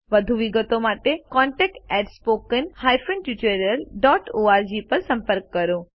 વધુ વિગતો માટે contactspoken tutorialorg પર સંપર્ક કરો